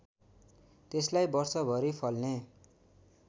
त्यसलाई वर्षभरि फल्ने